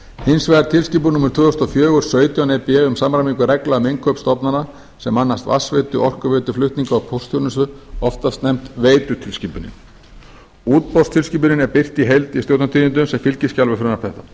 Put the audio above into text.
hins vegar tilskipun númer tvö þúsund og fjögur sautján e b um samræmingu reglna um innkaup stofnana sem annast vatnsveitu orkuveitu flutninga og póstþjónustu oftast nefnd veitutilskipunin útboðstilskipunin er birt í heild í stjórnartíðindum sem fylgiskjal við frumvarp þetta